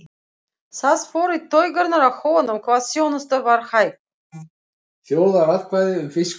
Það fór í taugarnar á honum hvað þjónustan var hæg.